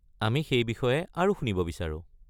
আমি সেই বিষয়ে আৰু শুনিব বিচাৰোঁ।